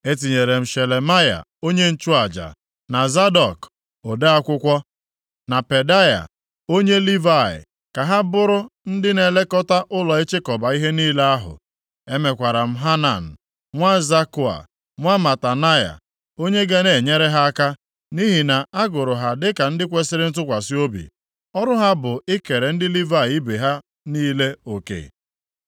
E tinyere m Shelemaya onye nchụaja, na Zadọk ode akwụkwọ, na Pedaia onye Livayị, ka ha bụrụ ndị na-elekọta ụlọ ịchịkọba ihe niile ahụ. Emekwara m Hanan nwa Zakua, nwa Matanaya, onye ga na-enyere ha aka, nʼihi na a gụrụ ha dịka ndị kwesiri ntụkwasị obi. Ọrụ ha bụ ikere ndị Livayị ibe ha niile oke.